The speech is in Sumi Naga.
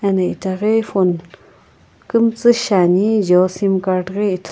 eno itaghi phone kumtsu shiani jio simcard ghi ithulu--